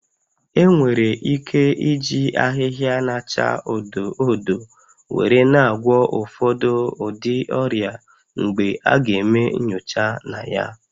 Enwere ike iji ahịhịa na-acha odo odo were na-agwọ ụfọdụ ụdị ọrịa mgbe a ga-eme nyocha na ya